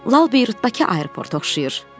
Lap Lal Beyrutdakı aeroportu xatırladır.